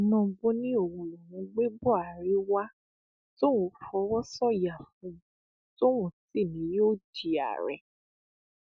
tinúbú ni òun lòún gbé buhari wá tóun fọwọ sọyà fún un tóun sì ni yóò di ààrẹ